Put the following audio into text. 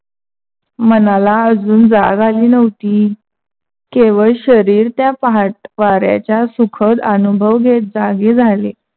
मनाला अजून जाग आली नव्हती. केवळ शरीर त्या पहाट वाऱ्याच्या सुखद अनुभव घेत जागे झाले.